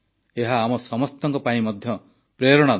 ଏହା ଆମ ସମସ୍ତଙ୍କ ପାଇଁ ମଧ୍ୟ ପ୍ରେରଣାଦାୟୀ